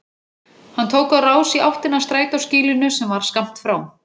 Hann tók á rás í áttina að strætóskýlinu sem var skammt frá.